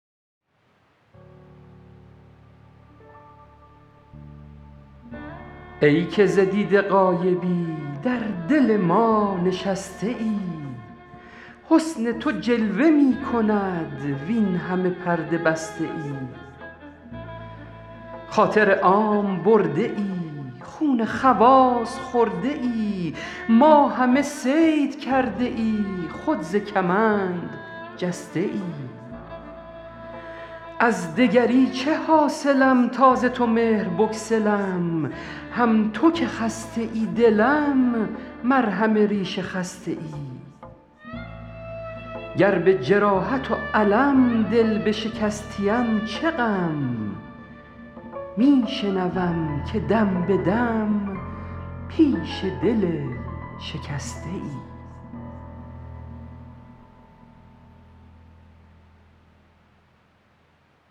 ای که ز دیده غایبی در دل ما نشسته ای حسن تو جلوه می کند وین همه پرده بسته ای خاطر عام برده ای خون خواص خورده ای ما همه صید کرده ای خود ز کمند جسته ای از دگری چه حاصلم تا ز تو مهر بگسلم هم تو که خسته ای دلم مرهم ریش خسته ای گر به جراحت و الم دل بشکستیم چه غم می شنوم که دم به دم پیش دل شکسته ای